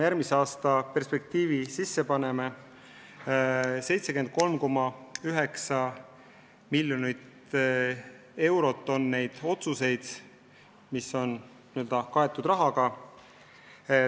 Järgmiste aastate eelarvetes, ütleme niimoodi, on selleks kokku 79,9 miljonit eurot.